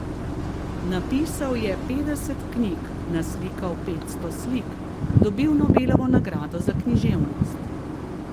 Napisal je petdeset knjig, naslikal petsto slik, dobil Nobelovo nagrado za književnost.